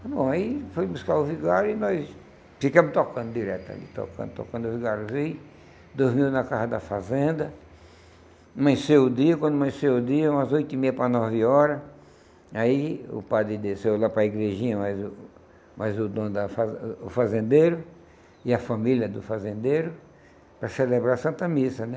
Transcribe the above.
Bom, aí foi buscar o vigário e nós ficamos tocando direto ali, tocando, tocando, o vigário veio, dormiu na casa da fazenda, amanheceu o dia, quando amanheceu o dia, umas oito e meia para nove horas, aí o padre desceu lá para a igrejinha mais o mais o dono da fazen o fazendeiro e a família do fazendeiro para celebrar a Santa Missa, né?